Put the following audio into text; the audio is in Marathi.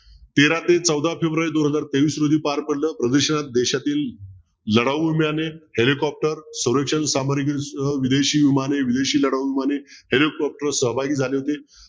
तेरा ते चौदा फेब्रुवारी दोन हजार तेवीस रोजी पार पडलं प्रदर्शनात देशातील लढाऊ विमाने हेलिकॉप्टर विदेशी विमाने विदेशी लढाऊ विमाने हेलिकॉप्टर सहभागी झाले होते